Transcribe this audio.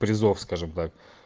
призов скажем так